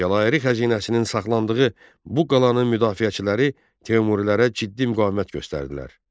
Cəlairi xəzinəsinin saxlandığı bu qalanın müdafiəçiləri Teymurilərə ciddi müqavimət göstərdilər.